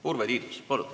Urve Tiidus, palun!